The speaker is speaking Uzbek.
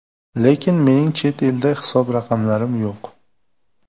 Lekin, mening chet elda hisob raqamlarim yo‘q.